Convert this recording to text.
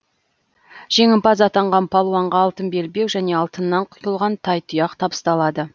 жеңімпаз атанған палуанға алтын белбеу және алтыннан құйылған тайтұяқ табысталады